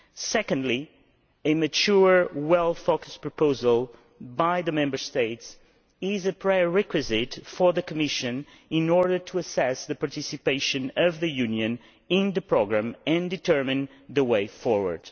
Secondly, a mature, well focused proposal from the Member States is a prerequisite for the Commission in order to assess the participation of the Union in the programme and determine the way forward.